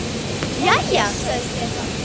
Jæja, sagði Stefán.